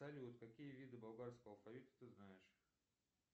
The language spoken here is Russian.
салют какие виды болгарского алфавита ты знаешь